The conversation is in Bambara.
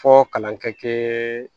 Fɔ kalankɛ